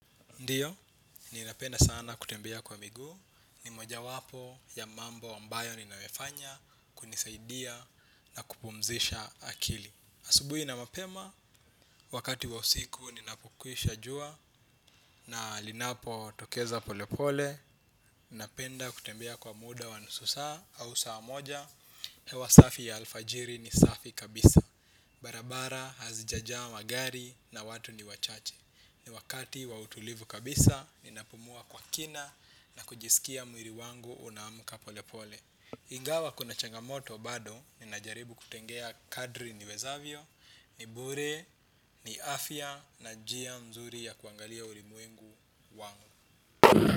Ndiyo, ninapenda sana kutembea kwa miguu, ni mojawapo ya mambo ambayo ninayafanya kunisaidia na kupumzisha akili. Asubui na mapema, wakati wa usiku linapokwisha jua na linapotokeza pole pole, ninapenda kutembea kwa muda wa nusu saa au saa moja. Hewa safi ya alfajiri ni safi kabisa. Barabara hazijajaa magari na watu ni wachache. Ni wakati wa utulivu kabisa, ninapumua kwa kina na kujisikia mwili wangu unaamka polepole. Ingawa kuna changamoto bado, ninajaribu kutegea kadri niwezavyo, nibure, ni afya na njia mzuri ya kuangalia ulimwengu wangu.